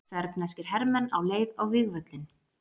Serbneskir hermenn á leið á vígvöllinn.